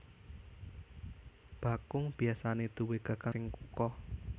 Bakung biasané duwé gagang sing kukoh